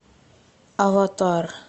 аватар